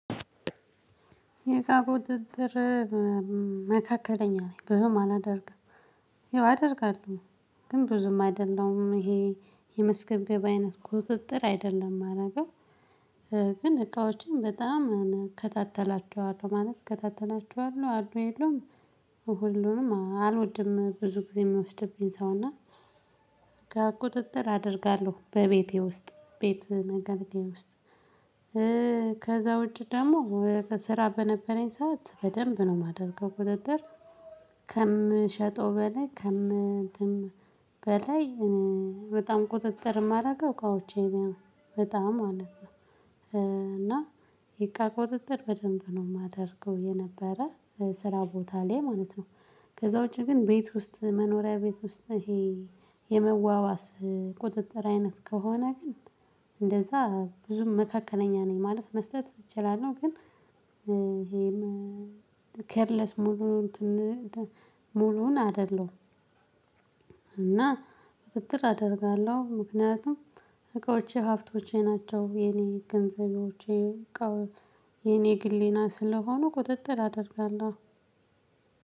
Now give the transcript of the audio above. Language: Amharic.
የእቃ ቁጥጥር መካከለኛ ነኝ ብዙም አላደርግም። ይው አደርጋለሁ። ግን ብዙም አይደለም ይሄ የመስገብገብ አይነት ቁጥጥር አይደለም የማደርገው። ግን እቃዎችን በጣም እከታተላቸዋለሁ ማለት እከታተላቸዋለሁ አሉ የለውም። ሁሉንም አልወድም ብዙ ጊዜ የምወስድብኝ ሰው እና። ከቁጥጥር አደርጋለሁ በቤቴ ውስጥ ቤት መገንቴ ውስጥ። ከዛ ውጪ ደግሞ በስራ በነበረኝ ሰዓት በደንብ ነው የማደርገው ቁጥጥር። ከምሸጠው በላይ ከምትም በላይ በጣም ቁጥጥር የማደርገው እቃዎቼ ነኝ። በጣም ማለት ነው። እና የእቃ ቁጥጥር በደንብ ነው የማደርገው የነበረ ስራ ቦታ ላይ ማለት ነው። ከዛ ውጪ ግን ቤት ውስጥ መኖሪያ ቤት ውስጥ ይሄ የመዋዋስ ቁጥጥር አይነት ከሆነ ግን እንደዛ ብዙም መካከለኛ ነኝ ማለት መስጠት እችላለሁ ግን። ይሄም ኬርለስ ሙሉ ሙሉውን አይደለም። እና ክትትል አደርጋለሁ ምክንያቱም እቃዎቼ ሀብቶቼ ናቸው የኔ ገንዘቤዎቼ። የኔ ግሌና ስለሆኑ ቁጥጥር አደርጋለሁ።